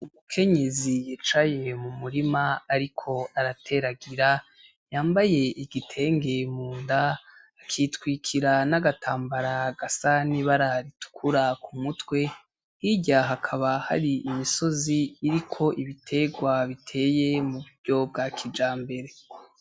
Umukenyezi yicaye mu murima, ariko arateragira yambaye igitenge munda akitwikira n'agatambara gasa nibara ritukura ku mutwe hirya hakaba hari imisozi iriko ibiterwa biteye mu buryo bwa kija mbere.